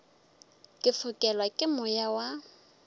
ke fokelwa ke moya wa